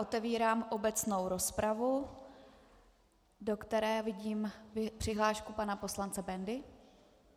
Otevírám obecnou rozpravu, do které vidím přihlášku pana poslance Bendy.